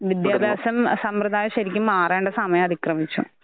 വിദ്യാഭാസം സമ്പ്രതായ ശരിക്കും മാറേണ്ട സമയം അതിക്രമിച്ചു.